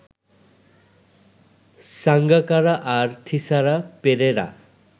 সাঙ্গাকারা আর থিসারা পেরেরা